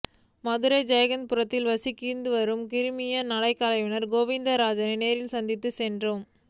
மதுரை ஜெய்ஹிந்த் புரத்தில் வசித்துவரும் கிராமிய நடனக்கலைஞர் கோவிந்தராஜை நேரில் சந்திக்கச் சென்றோம்